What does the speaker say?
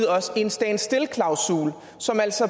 os en stand still klausul som altså